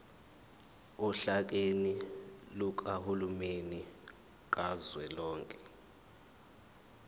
ohlakeni lukahulumeni kazwelonke